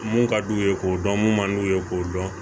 Mun ka d'u ye k'o dɔn mun man d'u ye k'o dɔn